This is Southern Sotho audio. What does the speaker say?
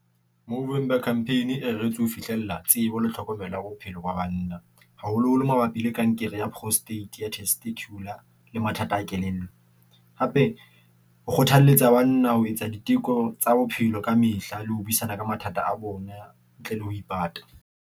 Movember Campaign e reretswe ho fihlella tsebo le tlhokomelo ya bophelo ba banna, haholoholo mabapi le kankere ya prostate ya testicular. Le mathata a kelello, hape ho kgothalletsa banna ho etsa diteko tsa bophelo ka mehla le ho buisana ka mathata a bona ntle le ho ipata.